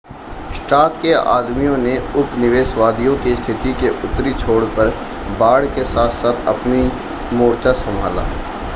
Stark के आदमियों ने उपनिवेशवादियों की स्थिति के उत्तरी छोर पर बाड़ के साथ-साथ अपनाी मोर्चा संभाला